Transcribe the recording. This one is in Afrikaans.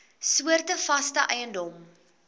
soorte vaste eiendom